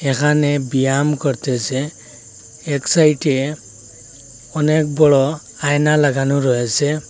এখানে ব্যায়াম করতেসে এক সাইটে অনেক বড়ো আয়না লাগানো রয়েসে ।